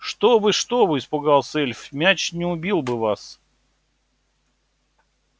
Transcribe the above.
что вы что вы испугался эльф мяч не убил бы вас